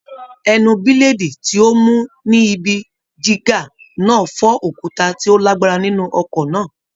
Ẹnu bílèdì tí ó mú ni ibi jígà náà fọ́ òkúta tí ó lágbára nínú ọkọ náà.